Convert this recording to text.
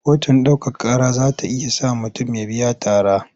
Kotun ɗaukaka ƙara za ta iya sa mutum ya biya tara.